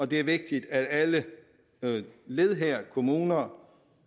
det vigtigt at alle led kommuner